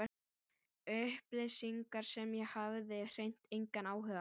Upplýsingar sem ég hafði hreint engan áhuga á.